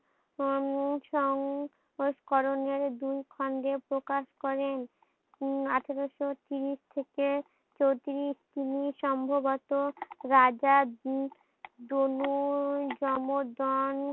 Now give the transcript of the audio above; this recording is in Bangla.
উম সং সংস্করণের দুই খন্ডে প্রকাশ করেন উম আঠারোশো তিরিশ থেকে চৌত্রিশ তিনি সম্ভবত রাজা দনু জমজন